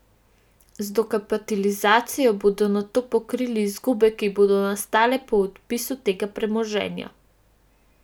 Z dokapitalizacijo bodo nato pokrili izgube, ki bodo nastale po odpisu tega premoženja.